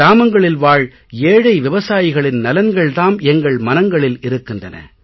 கிராமங்களில் வாழ் ஏழை விவசாயிகளின் நலன்கள் தாம் எங்கள் மனங்களில் இருக்கின்றன